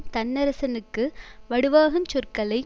தன்னரசனுக்கு வடுவாகுஞ் சொற்களை